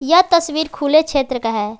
यह तस्वीर खुले क्षेत्र का है।